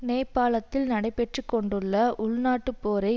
நேபாளத்தில் நடைபெற்று கொண்டுள்ள உள் நாட்டுப்போரை